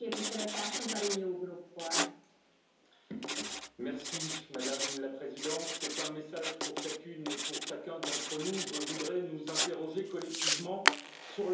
Madame la Présidente, c'est un message pour chacune et pour chacun d'entre nous je voudrais nous interroger collectivement sur le sens de ce que nous faisons ici pour construire le monde d'après.